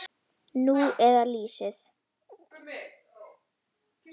Nú eða lýsið.